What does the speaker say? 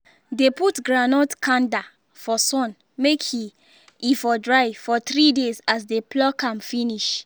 dey put groundnut kanda for sun may e e for dry for three days as dey pluck am finish